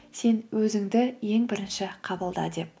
сен өзіңді ең бірінші қабылда деп